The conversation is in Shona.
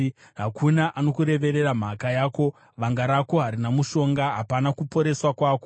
Hakuna anokureverera mhaka yako, vanga rako harina mushonga, hapana kuporeswa kwako.